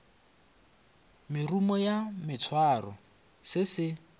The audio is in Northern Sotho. merumo ya maswaro se se